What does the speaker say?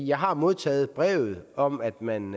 jeg har modtaget brevet om at man